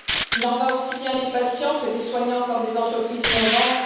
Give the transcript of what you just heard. Il en va aussi bien des patients que des soignants, comme des entreprises innovantes.